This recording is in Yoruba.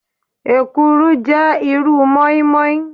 Èkuru jẹ́ irúu mọ́ínmọ́ín.